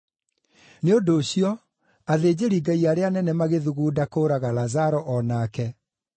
Nĩ ũndũ ũcio athĩnjĩri-Ngai arĩa anene magĩthugunda kũũraga Lazaro o nake,